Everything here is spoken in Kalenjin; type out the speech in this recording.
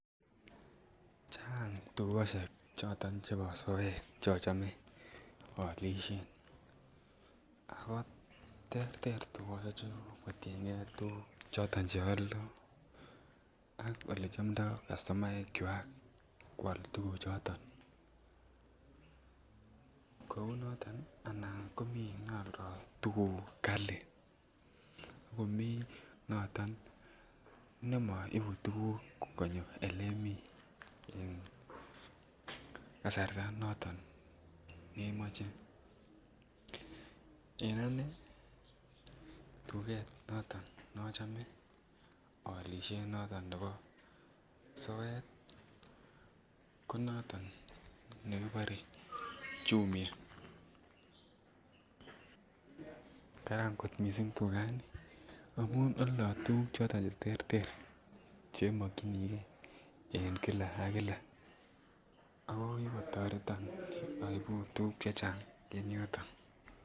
Chang tukosiek choton chebo soet chochome ako olishen ako terter tugoshechu kotiengee tuguk choton che oldo ak ole chomdo customaekwak kwal tuguk choton. Kouu noton anan komii ne oldo tuguk kalii ak komii noton ne moibu tuguk konyo ele mii en kasarta noton nemoche. En anee tuget noton nochome olishen noton nebo soet ko noton nekibore Jumia. Karan kot missing tugani amun oldo tuguk choton che terter che mokyingee en kila ak Kila ako kigotoreton oibu tuguk chechang en yoton